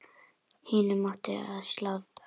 Hinum átti að slátra.